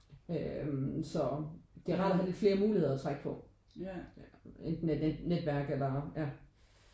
Øh så det er rart at have lidt flere muligheder at trække på et netværk eller ja